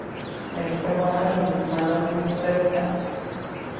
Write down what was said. Daí a gente foi morar junto, mas não não deu muito certo.